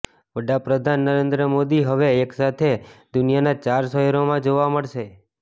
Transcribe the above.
વડાપ્રધાન નરેદ્ર મોદી હવે એક સાથે દુનિયાના ચાર શહેરોમાં જોવા મળશે